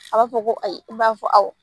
A b'a fɔ ko ayi i b'a fɔ awɔ